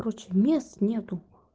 короче мест нету